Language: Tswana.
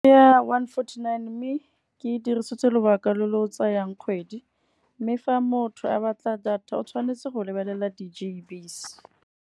Ya one forty-nine mme ke dirisitse lobaka lo lo o tsayang kgwedi, mme fa motho a batla data o tshwanetse go lebelela di-G_B's.